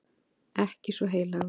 Ekki svo heilagur.